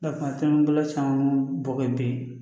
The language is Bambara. kuma caman bolo caman bɔ bi